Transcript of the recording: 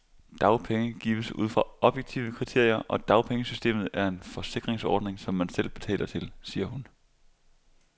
Dagpenge gives ud fra objektive kriterier, og dagpengesystemet er en forsikringsordning, som man selv betaler til, siger hun.